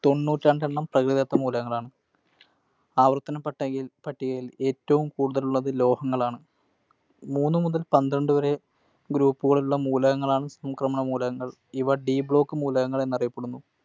തൊണ്ണൂറ്റി രണ്ടെണ്ണം പ്രകൃതിദത്ത മൂലകങ്ങളാണ്. ആവർത്തന പട്ടികയിൽ ഏറ്റവും കൂടുതൽ ഉള്ളത് ലോഹങ്ങളാണ്. മൂന്നു മുതൽ പന്ത്രണ്ട് വരെ Group കളുള്ള മൂലകങ്ങളാണ് സംക്രമണ മൂലകങ്ങൾ. ഇവ D Block മൂലകങ്ങളെന്നു അറിയപ്പെടുന്നു.